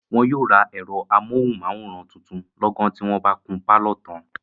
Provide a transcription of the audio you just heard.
wọn yóò rà ẹ̀rọ amóhùnmáwòrán tuntun lọ́gán tí wọ́n bá kun pálọ̀ tán.